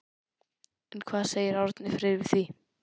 En hvað segir Árni Freyr við því?